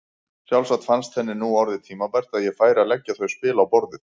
Sjálfsagt fannst henni nú orðið tímabært að ég færi að leggja þau spil á borðið!